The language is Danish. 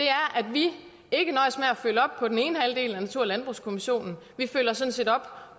vi ikke nøjes med at følge op på den ene halvdel af natur og landbrugskommissionens rapport vi følger sådan set op